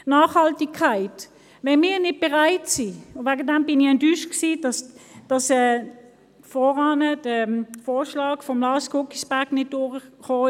Zur Nachhaltigkeit: Ich war enttäuscht, dass der Vorschlag von Lars Guggisberg nicht durchkam.